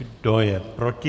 Kdo je proti?